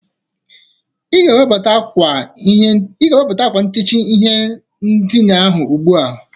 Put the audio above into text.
Ị ga-ewebata akwa ntichi ihe ndịna ahụ ugbụa!